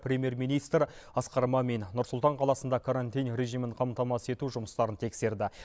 премьер министр асқан мамин нұр сұлтан қаласында карантин режимін қамтамасыз ету жұмыстарын тексерді